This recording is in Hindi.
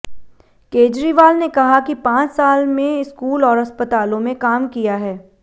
केजरीवाल ने कहा कि पांच साल में स्कूल और अस्पतालों में काम किया है